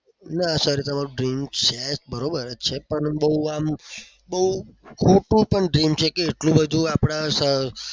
ના sir. તમારું dream છે બરોબર જ છે. પણ બહુ આમ બહુ થઈને કે કે એટલું બધુ આપણા